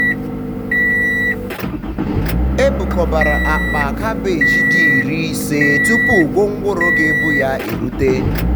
e bukọbara akpa um cabeji di iri um ise tupu gwongworo ga-ebu ya um erute.